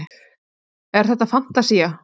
En þetta er fantasía.